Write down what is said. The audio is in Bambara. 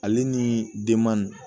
Ale ni denman